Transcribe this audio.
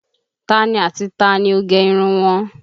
Tani ati tani ó gẹ irun wọn?